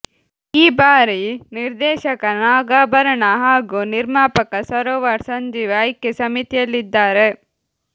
ಈ ಬಾರಿ ನಿರ್ದೇಶಕ ನಾಗಾಭರಣ ಹಾಗೂ ನಿರ್ಮಾಪಕ ಸರೋವರ್ ಸಂಜೀವ್ ಆಯ್ಕೆ ಸಮಿತಿಯಲ್ಲಿದ್ದಾರೆ